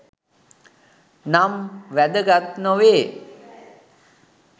නම් වැදගත් නොවේ